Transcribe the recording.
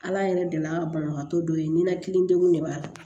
Ala yɛrɛ deli an ka banabagatɔ dɔ ye ninakili degun de b'a la